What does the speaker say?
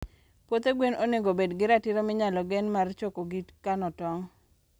puothe gwen onego obed gi ratiro minyalo gen mar choko gi kano tong